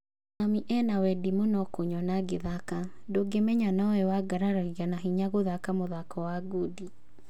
Mami ena wendi mũno kũnyona ngĩthaka, ndũngĩmenya nowe wangararagia na hinya gũthaka mũthako wa ngundi.